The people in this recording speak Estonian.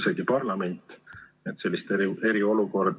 Muudatus on vajalik tulenevalt COVID-19 epideemiast tingitud olukorrast.